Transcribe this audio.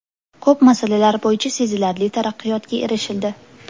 Ko‘p masalalar bo‘yicha sezilarli taraqqiyotga erishildi.